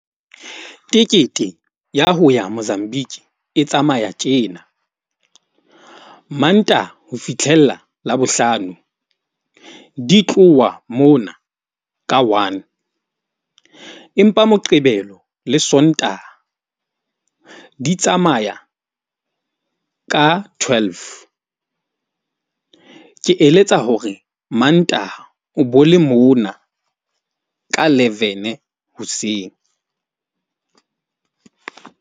Tekete ya ho ya Mozambique e tsamaya tjena, Mantaha ho fitlhella Labohlano, di tloha mona ka one, empa Moqebelo le Sontaha di tsamaya ka twelve. Ke eletsa hore Mantaha o bo le mona ka levene hoseng.